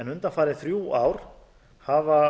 undanfarin þrjú ár hafa